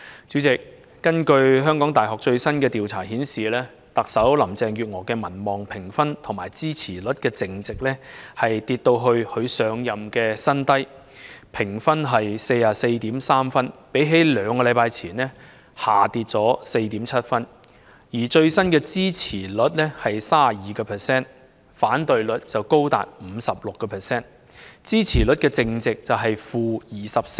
主席，根據香港大學最新的調查顯示，特首林鄭月娥的民望評分與支持率淨值下跌至她上任以來的新低的 44.3 分，相較兩星期前下跌 4.7 分，而最新的支持率為 32%， 反對率則高達 56%， 支持率淨值為 -24%。